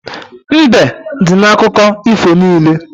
Mbe dị n'akụkọ ifo niile.